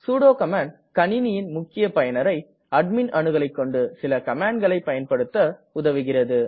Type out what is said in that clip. sudo command கணிணியின் முக்கிய பயனரை அட்மிண் அணுகலைக்கொண்டு சில கமாண்ட்களை பயன்படுத்த உதவுகிறது